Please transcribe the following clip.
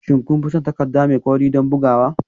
Shin kun fi son takarda mai kauri don bugawa?